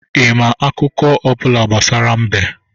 Ị ma akụkọ ọ bụla gbasara mbe?